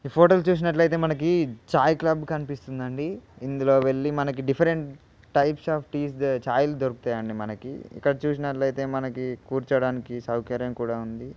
ఈ ఫోటో లో చూసినట్లయితే మనకి చాయ్ క్లబ్ కనిపిస్తుంది అండి ఇందులో వెళ్ళి మనకి డిఫరెంట్ టైప్స్ ఆఫ్ లో టి చాయ్ లు దొరుకుతాయండి మనకి ఇక్కడ చూసినట్లయితే మనకి కూర్చోడానికి సౌకర్యం కూడా ఉంది.